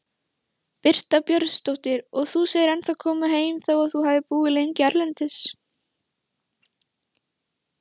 Birta Björnsdóttir: Og þú segir ennþá koma heim þó að þú hafi búið lengi erlendis?